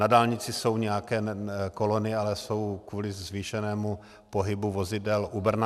Na dálnici jsou nějaké kolony, ale jsou kvůli zvýšenému pohybu vozidel u Brna.